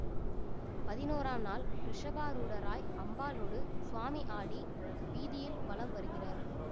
பதினோராம் நாள் ரிஷபாரூடராய் அம்பாளோடு சுவாமி ஆடி வீதியில் வலம் வருகிறார்